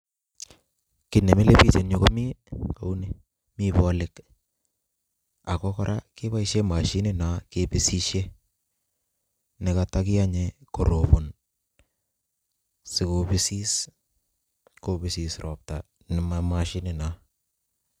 Kiy ne milei bich eng yu ko mi kou ni, Mi bolik, ako kora keboishe mashinino kebisishe ne kato kiyonye korobon sikobisis kobisis ropta ne ma mashini noo.